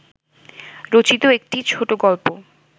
রচিত একটি ছোটোগল্প